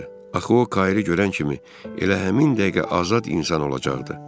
Axı o Kairi görən kimi elə həmin dəqiqə azad insan olacaqdı.